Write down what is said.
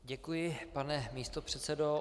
Děkuji, pane místopředsedo.